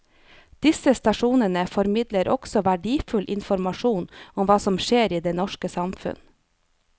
Disse stasjonene formidler også verdifull informasjon om hva som skjer i det norske samfunn.